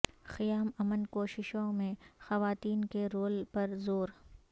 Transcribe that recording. قیام امن کوششوں میں خواتین کے رول پر زور